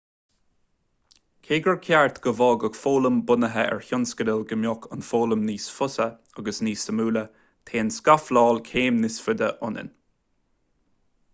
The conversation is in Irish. cé gur cheart go bhfágfadh foghlaim bunaithe ar thionscadal go mbeadh an fhoghlaim níos fusa agus níos suimiúla téann scafláil céim níos faide anonn